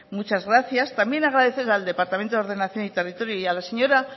muchas gracias también agradecer al departamento de ordenación y territorio y a la señora